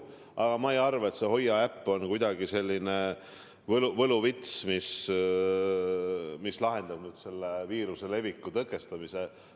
Aga ma ei arva, et see Hoia äpp on kuidagi selline võluvits, mis lahendaks viiruse leviku tõkestamise.